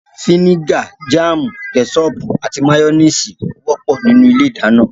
Fínígà, jáàmù, kẹ́sọọ̀pù, àti máyọ́néésì wọ́pọ̀ ní ilé ìdáná